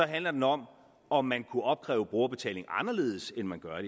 handler den om om man kunne opkræve brugerbetaling anderledes end man gør